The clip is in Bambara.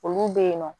Olu bɛ yen nɔ